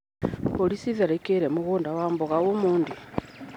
Mbũri citharĩkĩire mũgũnda wa mboga ũmũthĩ.